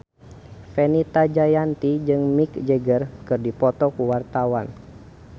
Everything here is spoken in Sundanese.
Fenita Jayanti jeung Mick Jagger keur dipoto ku wartawan